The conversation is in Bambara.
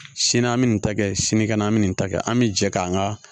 Sini an bi nin ta kɛ sinikɛnɛ an bɛ nin ta kɛ an bi jɛ k'an ka